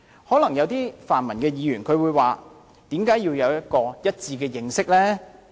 可能有些泛民議員會問，為甚麼要有一致的認識？